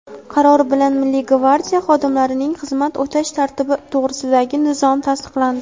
Qaror bilan Milliy gvardiya xodimlarining xizmat o‘tash tartibi to‘g‘risidagi nizom tasdiqlandi.